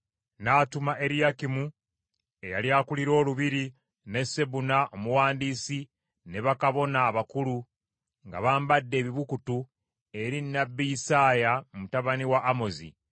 N’atuma Eriyakimu eyali akulira olubiri ne Sebuna omuwandiisi ne bakabona abakulu, nga bambadde ebibukutu, eri nnabbi Isaaya mutabani wa Amozi.